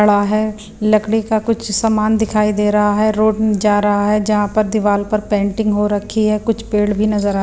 अड़ा है लकड़ी का कुछ समान दिखाई दे रहा है रोड जा रहा है जहाँ पर दीवाल पर पेंटिंग हो रखी है कुछ पेड़ भी नजर आ --